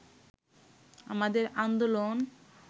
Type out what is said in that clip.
আমাদের আন্দোলন